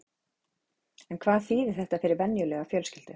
En hvað þýðir þetta fyrir venjulega fjölskyldu?